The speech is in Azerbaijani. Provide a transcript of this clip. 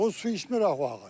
O su içmir axı bu ağac.